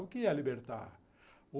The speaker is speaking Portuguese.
O que é libertar?